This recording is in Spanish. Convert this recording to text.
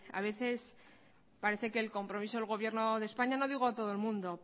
a veces parece que el compromiso del gobierno de españa no digo a todo el mundo